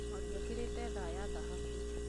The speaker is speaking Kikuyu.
Mwangi ekĩrĩte thaa ya thahabu.